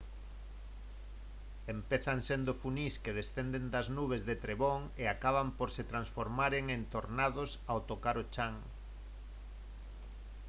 empezan sendo funís que descenden das nubes de trebón e acaban por se transformaren en tornados ao tocar o chan